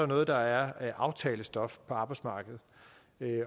noget der er aftalestof på arbejdsmarkedet